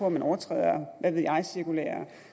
at man overtræder hvad ved jeg cirkulære